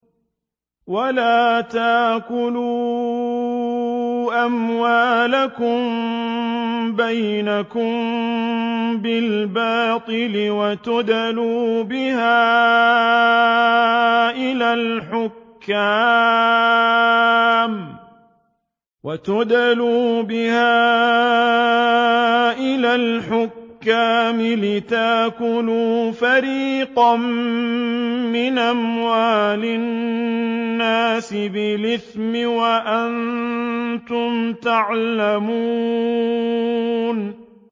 وَلَا تَأْكُلُوا أَمْوَالَكُم بَيْنَكُم بِالْبَاطِلِ وَتُدْلُوا بِهَا إِلَى الْحُكَّامِ لِتَأْكُلُوا فَرِيقًا مِّنْ أَمْوَالِ النَّاسِ بِالْإِثْمِ وَأَنتُمْ تَعْلَمُونَ